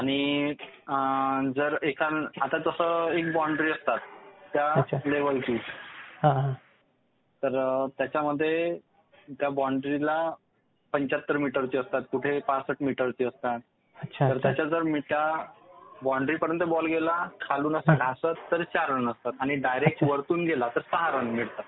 आणि आता कसं बाउंड्री असतात त्या लेव्हल ची, तर त्याच्यामध्ये त्या बाउंड्रीला, पंच्याहत्तर मीटर ची असतात, कुठं पासष्ट मीटरची असतात, त्या बाउंड्रीपर्यंत जर बॉल गेला खालून असा घासत तर चार रन आणि डायरेक्ट वरतून गेला तर सहा रन मिळतात.